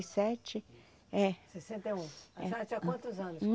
e sete, é. Sessenta e um a senhora tinha quantos anos?